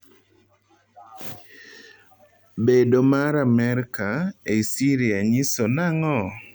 Bedo mar Amerka ei Syria nyiso nang'o?